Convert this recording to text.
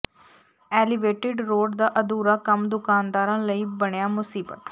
elevated road ਦਾ ਅਧੂਰਾ ਕੰਮ ਦੁਕਾਨਦਾਰਾਂ ਲਈ ਬਣਿਆ ਮੁਸੀਬਤ